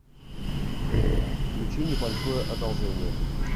включи небольшое одолжение